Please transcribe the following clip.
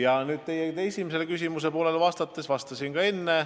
Aga nüüd teie esimestest küsimusest.